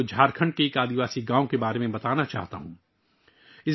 اب میں آپ کو جھارکھنڈ کے ایک قبائلی گاؤں کے بارے میں بتانا چاہتا ہوں